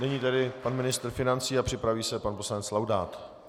Nyní tedy pan ministr financí a připraví se pan poslanec Laudát.